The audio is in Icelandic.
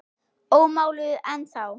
Ómáluð ennþá.